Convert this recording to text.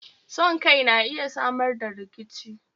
Son Kai na iya Samar da rikici